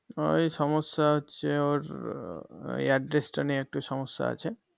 ওই সমস্যা হচ্ছে ওর উম Address টা নিয়ে একটু সমস্যা আছে